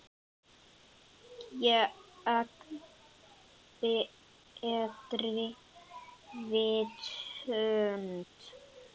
Gegn betri vitund.